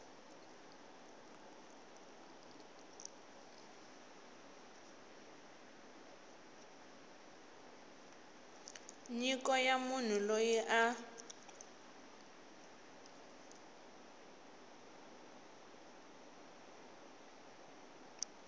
nyiko ya munhu loyi a